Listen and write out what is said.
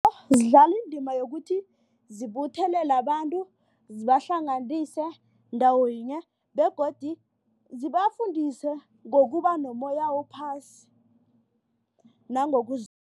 Zidlala indima yokuthi zibuthelele abantu zibahlanganise ndawo yinye begodu zibafundisa ngokuba nommoya ophasi